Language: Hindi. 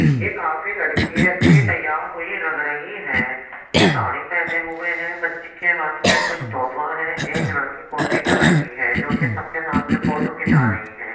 ये काफी लड़की अच्छी तैयार हुई लग रही है। ये साड़ी पहने हुए है। बच्ची के हाथ में कुछ तोहफा है। एक लड़की कुर्सी पे बैठी है जो कि सबके साथ में फोटो खींचा रही है।